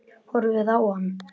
Horfið á hann.